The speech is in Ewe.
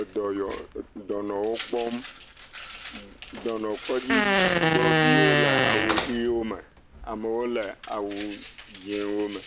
edɔyɔ dɔnɔwo kpɔm. Dɔnɔkɔdzi gbɔ viwo le awu ʋiwo me. Amewo le awu dzɛ̃ewo me.